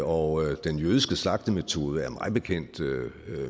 og den jødiske slagtemetode er mig bekendt